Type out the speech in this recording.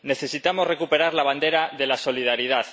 Necesitamos recuperar la bandera de la solidaridad.